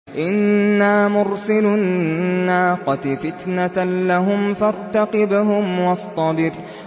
إِنَّا مُرْسِلُو النَّاقَةِ فِتْنَةً لَّهُمْ فَارْتَقِبْهُمْ وَاصْطَبِرْ